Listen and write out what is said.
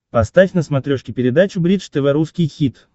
поставь на смотрешке передачу бридж тв русский хит